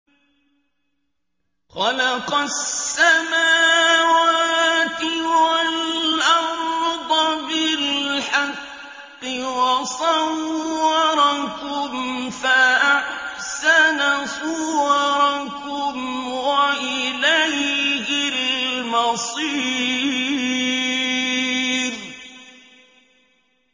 خَلَقَ السَّمَاوَاتِ وَالْأَرْضَ بِالْحَقِّ وَصَوَّرَكُمْ فَأَحْسَنَ صُوَرَكُمْ ۖ وَإِلَيْهِ الْمَصِيرُ